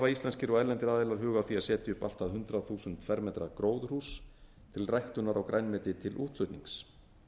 íslenskir og erlendir aðilar hug á því að setja upp allt að hundrað þúsund m tvö gróðurhús til ræktunar á grænmeti til útflutnings